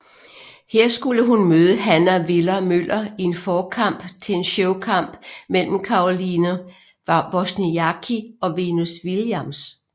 Her skulle hun møde Hannah Viller Møller i en forkamp til en showkamp mellem Caroline Wozniacki og Venus Williams